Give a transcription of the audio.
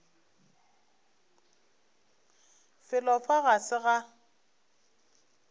felo fa ga se ga